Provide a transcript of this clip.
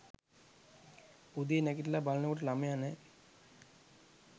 උදේ නැගිටල බලනකොට ළමයා නෑ